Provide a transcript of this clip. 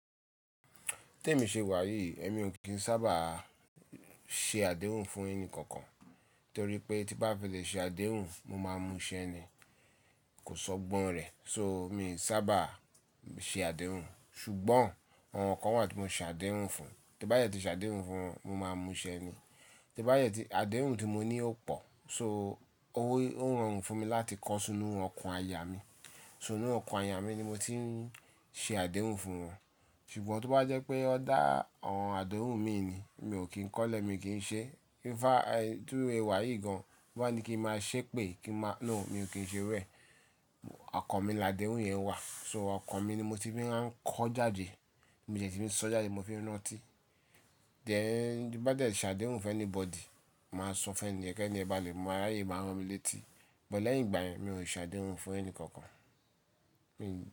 Tí èmi ṣe wàyí, èmi ò kí ń sábà ṣe àdéhùn fún ẹni kankan. Nítorí pé tí bá fẹ́ lè ṣe àdéhùn, mo máa múṣẹ́ ni, kò sọ́gbọ́n rẹ̀. So mi ò sábà ṣe àdéhùn. Ṣùgbọ́n àwọn kan wà tí mo ṣe àdéhùn fún. Tí bá dẹ tí ṣe àdéhùn fún wọn, mo máa múṣẹ́ ni. Tí bá yẹ tí àdéhùn tí mo ní ó pò, so ó rorun fún mi láti kó sínú ọkùn àyà mí. Sínú ọkùn àyà mí ni mo ti ń ṣe àdéhùn fún wọn. Ṣùgbọ́n tó bá jẹ́ pé ọ dá awon àdéhùn mi ni, mi ò kí ń kọ́lẹ̀, mi kí ń ṣe. Ifá, bi mo se wàyí gan, bi won ba ní kí n máa ṣépè, kí n máa-- no mi ò kí ń ṣe rẹ̀. Ọkàn mi ni àdéhùn yẹn wà. So ọkàn mi ni mo ti ń rán kọ́ jáde. Mi ò jẹ́ tíì ń sọ jáde, mo fi ń rántí. Dẹn ẹ́, tí bá jẹ́ ṣe àdéhùn fún anybody, màá sọ fún ẹni yẹn pé ẹ ní ẹ bá lè mọ̀, àrá yìí máa rán mi létí. Bọ̀ lẹ́yìn ìgbà yẹn, mi ò ṣe àdéhùn fún ẹni kankan. Mi ń.